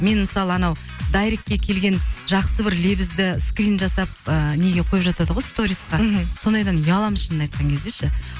мен мысалы анау дайректке келген жақсы бір лебізді скрин жасап ыыы неге қойып жатады ғой сториска мхм сондайдан ұяламын шынымды айтқан кезде ше